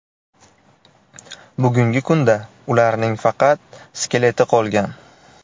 Bugungi kunda ularning faqat skeleti qolgan.